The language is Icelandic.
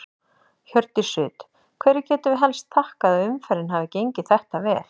Hjördís Rut: Hverju getum við helst þakkað að umferðin hafi gengið þetta vel?